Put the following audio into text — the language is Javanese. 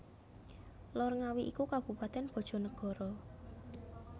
Lor Ngawi iku Kabupaten Bojonegoro